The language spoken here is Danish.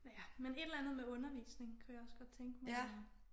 Ja men et eller andet med undervisning kunne jeg også godt tænke mig at